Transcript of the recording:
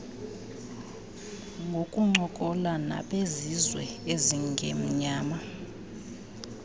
ngokuncokola nabezizwe ezingemnyama